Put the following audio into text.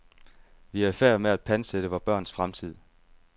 Vi er ifærd med at pantsætte vore børns fremtid.